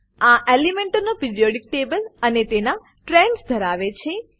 આ એલિમેન્ટનો periodic table અને તેના ટ્રેન્ડસ ધરાવે છે